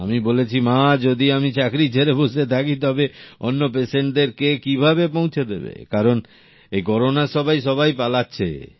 আমি বলেছি মা যদি আমি চাকরি ছেড়ে বসে থাকি তবে অন্য পেশেন্টদের কে কিভাবে পৌঁছে দেবে কারন এই করোনার সময়ে সবাই পালাচ্ছে